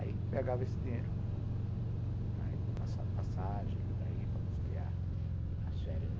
Aí pegava esse dinheiro para ir com passagem, para ir, para custear as férias.